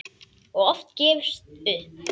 Og oft gefist upp.